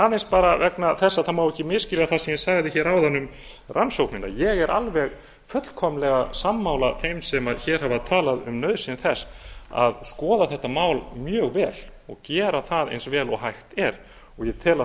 aðeins bara vegna þess að það má ekki misskilja það sem ég sagði hér áðan um rannsóknina ég er alveg fullkomlega sammála þeim sem hér hafa talað um nauðsyn þess að skoða þetta mál mjög vel og gera það eins vel og hægt er ég tel að